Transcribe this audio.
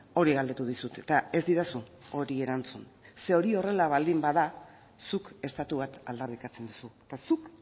hori galdetu dizut eta ez didazu hori erantzun ze hori horrela baldin bada zuk estatu bat aldarrikatzen duzu eta zuk